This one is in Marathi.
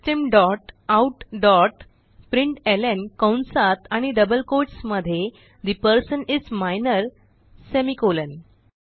सिस्टम डॉट आउट डॉट प्रिंटलं कंसात आणि डबल कोट्स मध्ये ठे person is minor semi colon